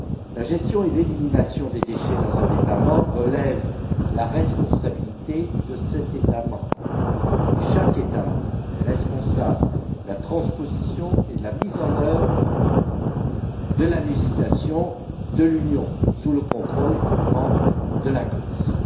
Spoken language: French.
La gestion et l'élimination des déchets dans un État membre relèvent de la responsabilité de cet État membre, et chaque État membre est responsable de la transposition et de la mise en œuvre de la législation de l'Union européenne, sous le contrôle, évidemment, de la Commission.